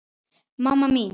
mamma mín